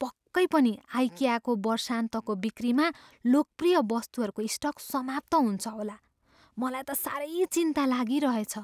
पक्कै पनि आइकियाको वर्षान्तको बिक्रीमा लोकप्रिय वस्तुहरूको स्टक समाप्त हुन्छ होला। मलाई त साह्रै चिन्ता लागिरहेछ।